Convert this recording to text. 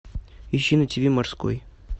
ищи на тв морской